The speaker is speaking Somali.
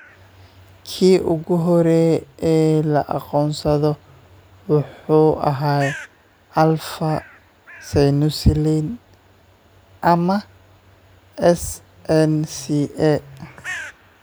Kii ugu horreeyay ee la aqoonsaday wuxuu ahaa alfa synuclein ama SNCA.